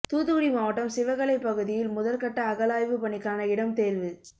தூத்துக்குடி மாவட்டம் சிவகளை பகுதியில் முதற்கட்ட அகழாய்வு பணிக்கான இடம் தேர்வு